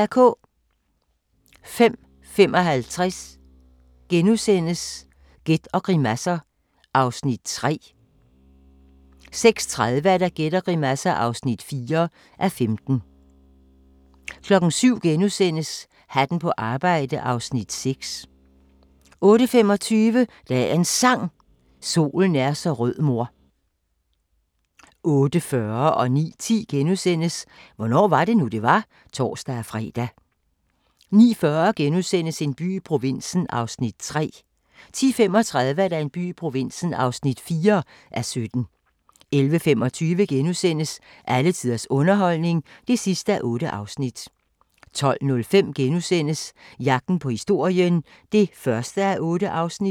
05:55: Gæt og grimasser (3:15) 06:30: Gæt og grimasser (4:15) 07:00: Hatten på arbejde (Afs. 6)* 08:25: Dagens Sang: Solen er så rød mor 08:40: Hvornår var det nu, det var? *(tor-fre) 09:10: Hvornår var det nu, det var? *(tor-fre) 09:40: En by i provinsen (3:17)* 10:35: En by i provinsen (4:17) 11:25: Alle tiders underholdning (8:8)* 12:05: Jagten på historien (1:8)*